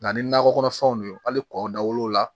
Nka ni nakɔ kɔnɔfɛnw de ye hali kɔ da wolon la